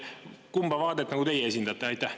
Kumba vaadet teie esindate?